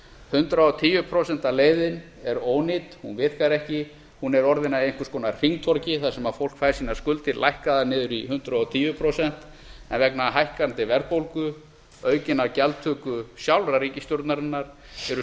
hundrað og tíu prósenta leiðin er ónýt hún virkar ekki hún er orðin að einhvers konar hringtorgi þar sem fólk fær sínar skuldir lækkaðar niður í hundrað og tíu prósent en vegna hækkandi verðbólgu aukinnar gjaldtöku sjálfrar ríkisstjórnarinnar eru